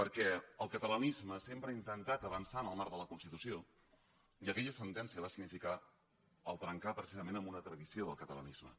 perquè el catalanisme sempre ha intentat avançar en el marc de la constitució i aquella sentència va significar trencar precisament amb una tradició del catalanisme